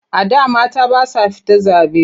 A da mata ba sa fita zaɓe.